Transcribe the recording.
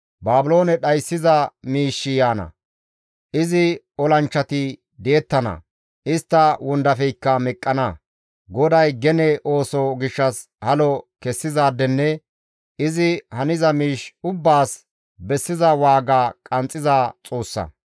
Baabiloone dhayssiza miishshi yaana; izi olanchchati di7ettana; istta wondafeykka meqqana; GODAY gene ooso gishshas halo kessizaadenne izi haniza miish ubbaas bessiza waaga qanxxiza Xoossa.